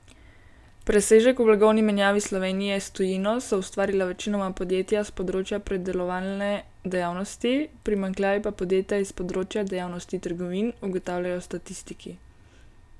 Presežek v blagovni menjavi Slovenije s tujino so ustvarila večinoma podjetja s področja predelovalne dejavnosti, primanjkljaj pa podjetja iz področja dejavnosti trgovin, ugotavljajo statistiki.